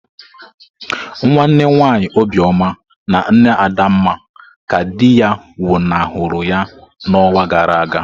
Nwanne nwanyi Obioma na nne Adanma ka di ya nwuna huru ya n'ọnwa gara aga.